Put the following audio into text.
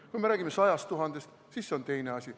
Kui me räägime 100 000-st, siis see on teine asi.